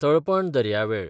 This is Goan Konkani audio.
तालपण दर्यावेळ